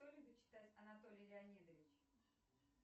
что любит читать анатолий леонидович